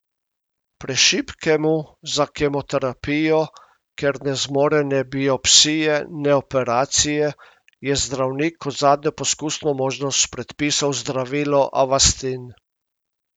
Prešibkemu za kemoterapijo, ker ne zmore ne biopsije ne operacije, je zdravnik kot zadnjo poskusno možnost predpisal zdravilo avastin.